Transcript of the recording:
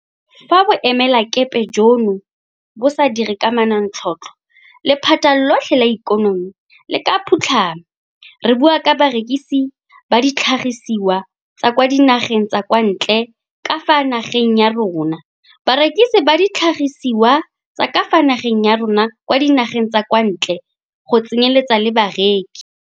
Fa boemelakepe jono bo sa dire ka manontlhotlho, lephata lotlhe la ikonomi le ka phutlhama, re bua ka barekisi ba ditlhagisiwa tsa kwa dinageng tsa kwa ntle ka fa nageng ya rona, barekisi ba ditlhagisiwa tsa ka fa nageng ya rona kwa dinageng tsa kwa ntle go tse nyeletsa le bareki.